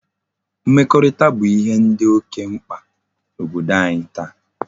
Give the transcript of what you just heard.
Mmekorita bu ihe di oke mkpa na Obodo anyi taa